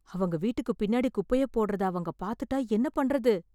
அவங்க வீட்டுக்கு பின்னாடி குப்பைய போடறத அவங்க பாத்துட்டா என்ன பண்றது?